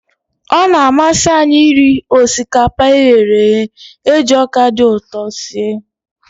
Ọ na-amasị anyị iri osikapa e ghere eghe e ji ọka dị ụtọ sie.